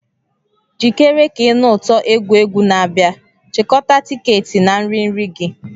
Jikere ka ị nụ ụtọ egwu egwu na-abịa; chịkọta tiketi na nri nri gị.